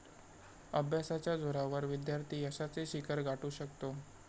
अभ्यासाच्या जोरावर विद्यार्थी यशाचे शिखर गाठू शकतो.